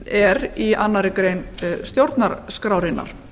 er í annarri grein stjórnarskrárinnar